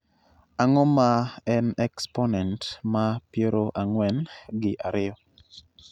ang'o ma en eksponent ma piero ang'wen gi ariyo